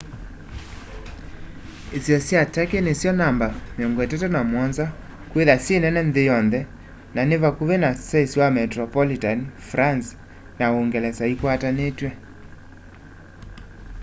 isio sya turkey nisyo namba 37 kwithwa syi nene nthi yonthe na ni vakuvi na saisi wa metropolitan france na uungelesa ikwatanitw'e